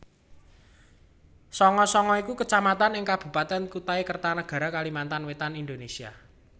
Sanga Sanga iku Kecamatan ing Kabupatèn Kutai Kartanegara Kalimantan Wétan Indonesia